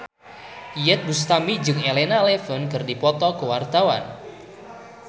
Iyeth Bustami jeung Elena Levon keur dipoto ku wartawan